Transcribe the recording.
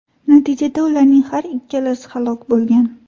Natijada ularning har ikkalasi halok bo‘lgan.